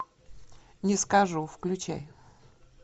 не скажу включай